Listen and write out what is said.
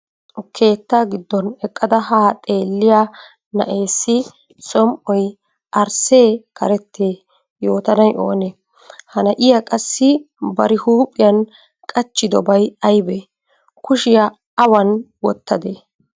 Keettaa giddon eqqada haa xeelliya na'eessi som"oy arssee karettee yootanay oonee? Ha na'iya qassi bari huuphiyan qachchidobay aybee? Kushiya awan wottadee?